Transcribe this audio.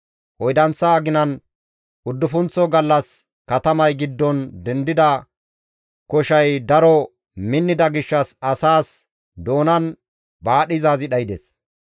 Oydanththa aginan uddufunththo gallas katamay giddon dendida koshay daro minnida gishshas asaas doonan baadhizaazi dhaydes.